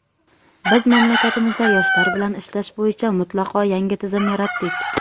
biz mamlakatimizda yoshlar bilan ishlash bo‘yicha mutlaqo yangi tizim yaratdik.